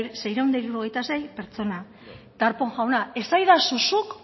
seiehun eta hirurogeita sei pertsona darpón jauna esadazu zuk